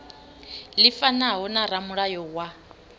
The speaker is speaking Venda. ḽi fanaho na ramulayo wa